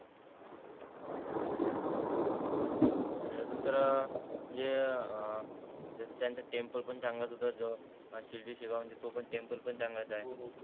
आणि अजून तर म्हणजे अं जस त्यांच टेम्पल पण चांगलाच होता जो शिर्डी सेगाव म्हणजे तो पण टेम्पल चांगलाच आहे हो हो